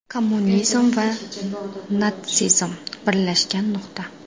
Kommunizm va natsizm birlashgan nuqta.